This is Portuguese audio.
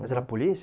Mas era polícia?